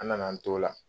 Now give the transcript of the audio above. An nana an t'o la